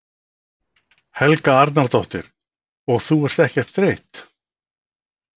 Helga Arnardóttir: Og ert þú ekkert þreytt?